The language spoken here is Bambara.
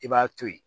I b'a to ye